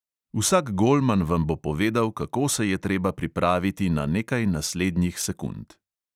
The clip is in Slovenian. Vsak golman vam bo povedal, kako se je treba pripraviti na nekaj naslednjih sekund.